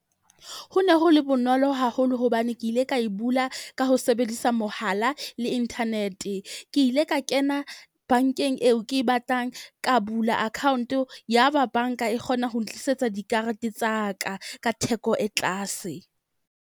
Ho ne ho le bonolo haholo hobane ke ile ka e bula. Ka ho sebedisa mohala le internet. Ke ile ka kena bank-eng eo, ke e batlang ka bula account ya ba bank-a e kgona ho ntlisetsa dikarete tsa ka ka theko e tlase.